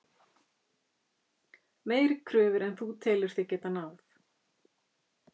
Meiri kröfur en þú telur þig geta náð?